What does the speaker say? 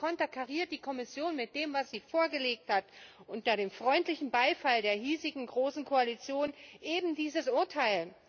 Und nun konterkariert die Kommission mit dem, was sie vorgelegt hat, unter dem freundlichen Beifall der hiesigen großen Koalition ebendieses Urteil.